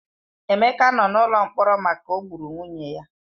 Emeka nọ n'ụlọ mkpọrọ maka o gburu nwunye ya.